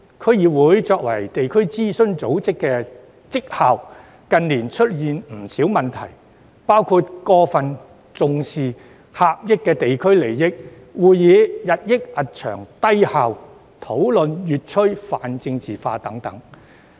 區議會作為地區諮詢組織的績效，近年出現不少問題，包括過分重視狹隘地區利益、會議日益冗長、低效，以及討論越趨泛政治化等。